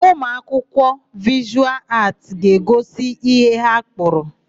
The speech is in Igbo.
Ụmụakwụkwọ Vịshụal Aatị ga-egosi ihe ha kpụrụ.